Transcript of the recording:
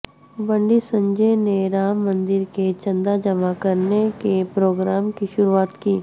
بنڈی سنجے نے رام مندر کے چندہ جمع کرنے کے پروگرام کی شروعات کی